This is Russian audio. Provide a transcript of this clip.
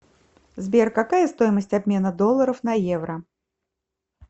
сбер какая стоимость обмена долларов на евро